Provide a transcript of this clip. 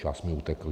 Čas mi utekl.